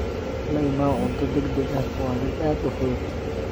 La imow cunto degdeg ah waa mid aad u fudud.